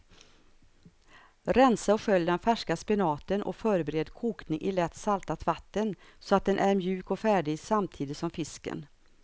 Rensa och skölj den färska spenaten och förbered kokning i lätt saltat vatten så att den är mjuk och färdig samtidigt som fisken.